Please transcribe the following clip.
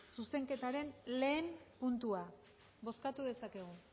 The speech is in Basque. zuzenketaren batgarrena puntua bozkatu dezakegu